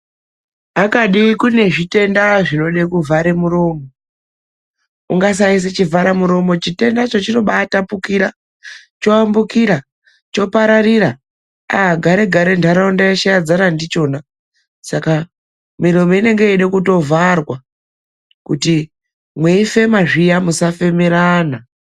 Akadi kune zvitenda zvinode kuvhara muromo. Ukasaisa chivhara muromo chitendacho chinobaatapukira choambukira, chopararira aaa gare gare nharaunda yeshe yadzara ndichona, saka miromo inenge yeide kutovharwa kuti mweifema zviya musafemerana.